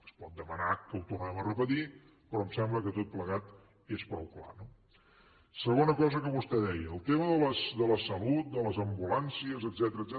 es pot demanar que ho tornem a repetir però em sembla que tot plegat és prou clar no segona cosa que vostè deia el tema de la salut de les ambulàncies etcètera